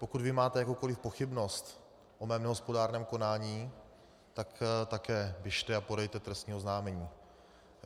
Pokud vy máte jakoukoli pochybnost o mém nehospodárném konání, tak také běžte a podejte trestní oznámení.